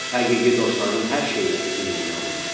Həqiqi dostların hər şeyləri ümumi olmalıdır.